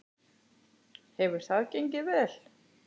Hefur það gengið vel?